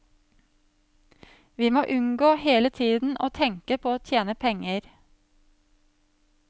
Vi må unngå hele tiden å tenke på å tjene penger.